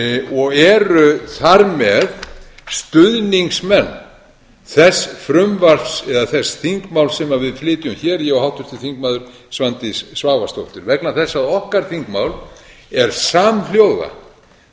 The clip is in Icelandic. og eru þar með stuðningsmenn þess frumvarps eða þess þingmáls sem við flytjum hér ég og háttvirtur þingmaður svandís svavarsdóttir vegna þess að okkar þingmál er